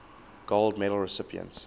gold medal recipients